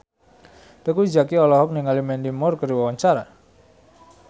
Teuku Zacky olohok ningali Mandy Moore keur diwawancara